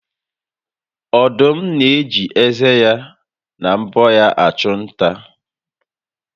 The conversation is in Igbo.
Ọdụm na-eji ezé na mbọ ya achụ nta